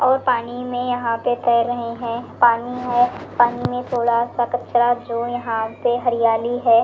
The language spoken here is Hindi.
और पानी में यहां पे तैर रहे हैं पानी है पानी में थोड़ा सा कचरा जो यहां पे हरियाली है।